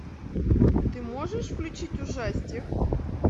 ты можешь включить ужастик